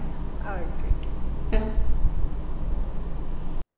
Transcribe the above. okay okay